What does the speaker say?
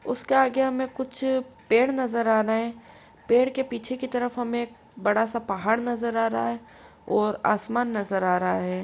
उसके आगे हमें कुछ पेड़ नजर आ रहे हैं। पेड़ के पीछे की तरफ हमें बड़ा सा पहाड़ नजर आ रहा है। और आसमान नजर आ रहा है।